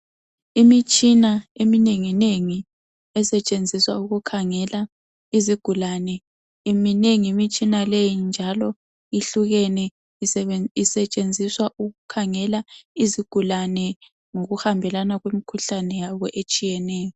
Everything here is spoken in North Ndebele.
Imitshina eminenginengi esetshenziswa ukukhangela izigulane minengi imitshina leyi njalo ihlukene isetshenziswa ukukhangela izigulane ngokuhambelana kwemikhuhlane yabo etshiyeneyo.